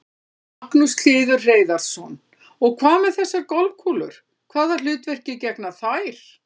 Magnús Hlynur Hreiðarsson: Og hvað með þessar golfkúlur, hvaða hlutverki gegna þær?